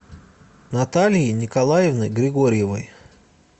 натальей николаевной григорьевой